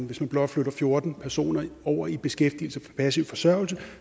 hvis man blot flytter fjorten personer over i beskæftigelse fra passiv forsørgelse